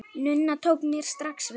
Nunna tók mér strax vel.